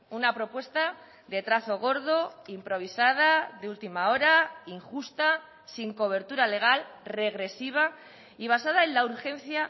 una propuesta de trazo gordo improvisada de última hora injusta sin cobertura legal regresiva y basada en la urgencia